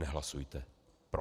Nehlasujte pro.